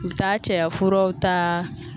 U bi taa cɛyafuraw ta